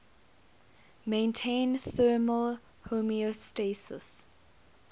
maintain thermal homeostasis